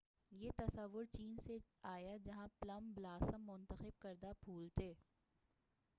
یہ تصور چین سے آیا جہاں پلم بلاسم ، مُنتخب کردہ پُھول تھے۔